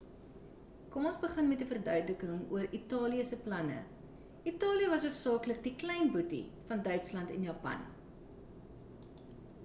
kom ons begin met 'n verduideliking oor italië se planne italië was hoofsaaklik die klein boetie van duitsland en japan